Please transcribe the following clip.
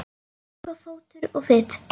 Það er uppi fótur og fit.